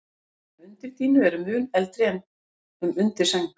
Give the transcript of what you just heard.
Dæmi um undirdýnu eru mun eldri en um undirsæng.